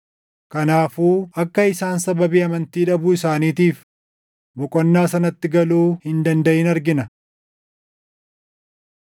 Kanaafuu akka isaan sababii amantii dhabuu isaaniitiif boqonnaa sanatti galuu hin dandaʼin argina.